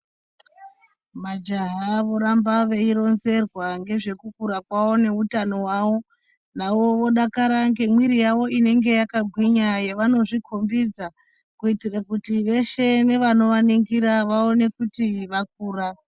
Majaha voramba veironzerwa ngezvekukura kwawo neutano hwawo, nawo vodakara nemwiri yawo inenge yakagwinya yavanozvikombidza kuitira kuti veshe nevanovaningira vaone kuti vakura.